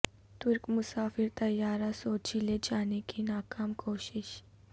ترک مسافر طیارہ سوچی لے جانے کی ناکام کوشش